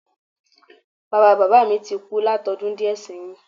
Bàbáa bàbá mi ti kú látodún díè séyìn